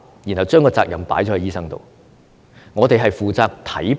然後將責任放在醫生身上。